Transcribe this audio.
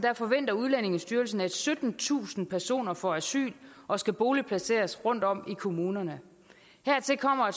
forventer udlændingestyrelsen at syttentusind personer får asyl og skal boligplaceres rundtom i kommunerne hertil kommer